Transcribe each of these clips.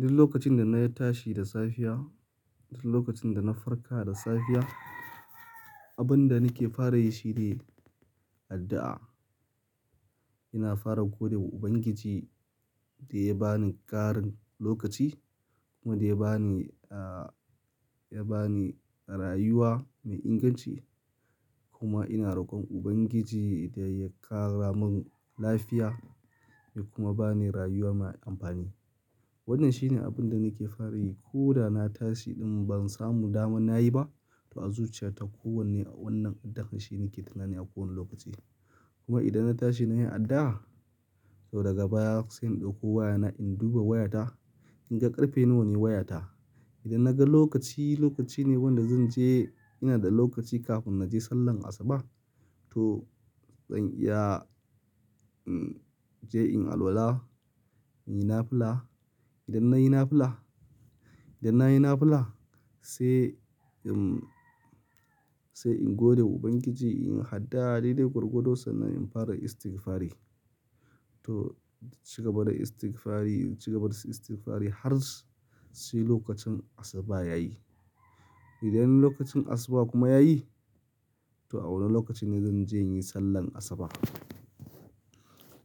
Duk lokacin da na yi tashi da safiya, duk lokacin da na farka da safiya, abin da nake fara yi shi ne addu'a. Ina fara gode wa Ubangiji da ya ba ni ƙarin lokaci kuma da ya ba ni, ya ba ni rayuwa mai inganci. Kuma ina rokon Ubangiji da ya ƙara mun lafiya da kuma ba ni rayuwa mai amfani. Wannan shine abin da nake fara yi ko da na tashi in ban samu damar na yi ba. To a zuciyata ko wanne wannan addu'an shine nake tunani a kowane lokaci. Kuma idan na tashi na yi addu'a, to daga baya sai in ɗauko wayana in duba wayata in ga ƙarfe nawa ne wayata. Idan na ga lokaci, lokaci ne wanda zan je ina da lokaci kafin na je sallar asuba. To zan iya, je in alwala, in yi nafula. Idan na yi nafula, idan na yi nafula sai in, sai in gode wa Ubangiji in yi addu'a daidai gwargwadon sannan in fara istighfari. To ci gaba da istighfari, ci gaba da istighfari har sai lokacin asuba yayi. Idan lokacin asuba kuma yayi, to a wane lokaci ne zan je in yi sallar asuba.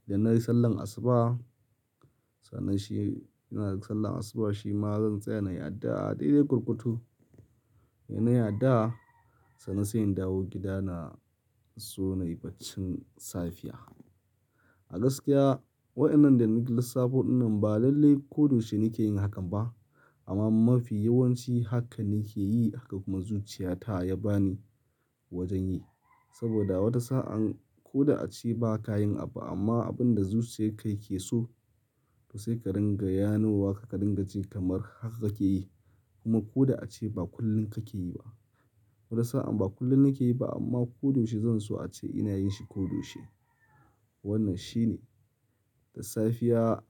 Idan na yi sallar asuba, sannan shi ina da sallar asuba shima zan tsaya na yi addu'a daidai gwargwado. In na yi addu'a, sannan sai in dawo gida na so na yi baccin safiya. A gaskiya waɗannan da na lissafo wannan ba lalle ko doshi nake yin hakan ba. Amma mafi yawanci haka nake yi haka kuma zuciyata ya ba ni wajen yi. Saboda wata sa'an ko da ace ba ka yin abu amma abin da zuciyar ka yake so to sai ka ringa yanewa ka ringa ji kamar haka kake yi. Kuma ko da ace ba kullum kake yi ba. Wata sa'an ba kullum nake yi ba amma ko doshi zan so ace ina yin shi ko da yaushe. Wannan shine. Da safiya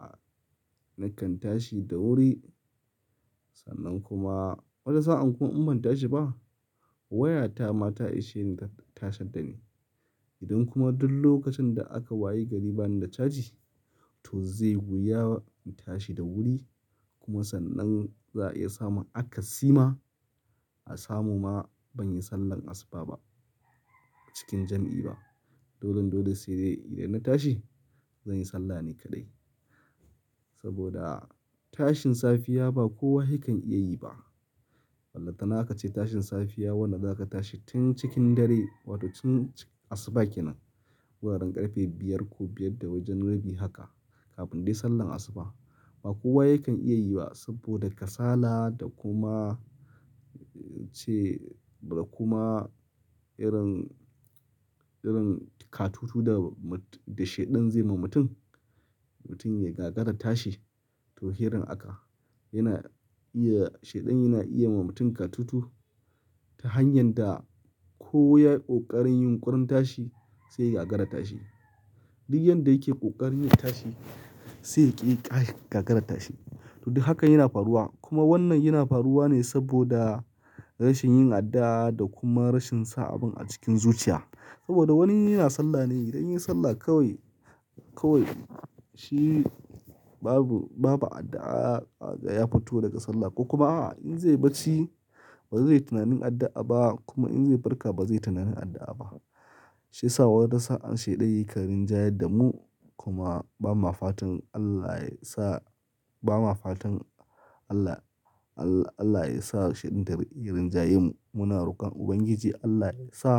nakan tashi da wuri sannan kuma wata sa'an kun inbanta shi ba. Wayata ma ta ishe ni ta tashar da ni. Idan kuma duk lokacin da aka waye gari bani da caji to zai wuya intashi da wuri kuma sannan za a iya samun akasima a samu ma ban yi sallar asuba ba cikin jam'i ba. Dolon dole sai dai idan na tashi zan yi sallah ne kaɗai. Saboda tashin safiya ba kowa yake iya yi ba. Ballanta naka ce tashin safiya wanda zaka tashi tun cikin dare wato tun asuba kenan. Guraren ƙarfe biyar ko biyar da wajen rabi haka kafin dai sallar asuba ba kowa yakan iya yi ba saboda kasala da kuma ce da kuma irin, irin katutu da shaidan zai ma mutum. Mutum ya gagara tashi to irin haka yana iya shaidan yana iya ma mutum katutu ta hanyar da ko ya yi ƙoƙarin yin ƙurun tashi sai ya gagara tashi. Duk yadda yake ƙoƙarin yin tashi sai ya ƙi gagara tashi. To duk hakan yana faruwa kuma wannan yana faruwa ne saboda rashin yin addu'a da kuma rashin sa abun a cikin zuciya. Saboda wani yana sallah ne idan ya yi sallah kawai, kawai shi babu, babu addu'a ya fito daga sallah. Ko kuma a'a in zai bacci ba zai yi tunanin addu'a ba kuma in zai farka ba zai yi tunanin addu'a ba. Shi ya sa wata sa'an shaidan yaka rin ja yarda mu kuma ba ma fatan Allah ya sa, ba ma fatan Allah, Allah, Allah ya sa shaidan ya rinjaye mu. Muna rokon Ubangiji Allah ya sa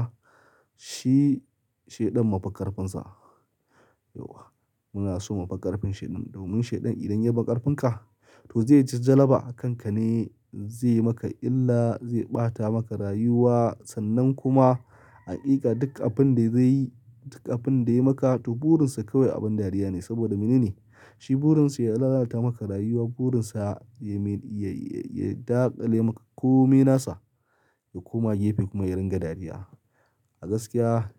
shi shaidan mufiƙarfinsa. Yawwa muna so mufiƙarfin shaidan domin shaidan idan ya fi karfin ka to zai ji jalaba a kanka ne zai maka illa, zai ɓata maka rayuwa sannan kuma aƙiƙa duk abin da zai yi, duk abin da ya yi maka to burin sa kawai abin dariya ne saboda mene ne? Shi burin sa ya lalata maka rayuwa, burin sa ya, ya, ya daƙale maka ko menasa ya koma gefe kuma ya ringa dariya. A gaskiya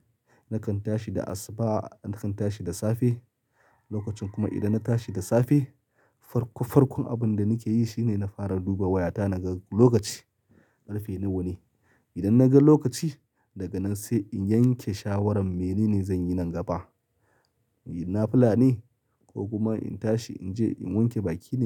nakan tashi da asuba, nakan tashi da safe lokacin kuma idan na tashi da safe farko farkon abin da nake yi shine na fara duba wayata na ga lokaci ƙarfe nawa ne. Idan na ga lokaci daga nan sai in yanke shawarar mene ne zanyi nan gaba. In yi nafula ne ko kuma in tashi in je in wanke baki ne?